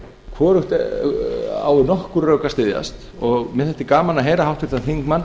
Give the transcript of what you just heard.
hvorugt á við okkur rök að styðjast og mér þætti gaman að heyra háttvirtan þingmann